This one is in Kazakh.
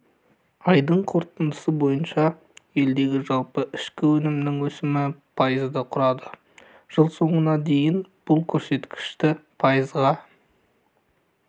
айдың қорытындысы бойынша елдегі жалпы ішкі өнімнің өсімі пайызды құрады жыл соңына дейін бұл көрсеткішті пайызға